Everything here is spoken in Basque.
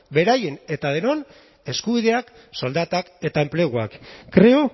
beraien eta denon eskubideak soldatak eta enpleguak creo